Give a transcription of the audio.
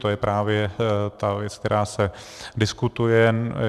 To je právě ta věc, která se diskutuje.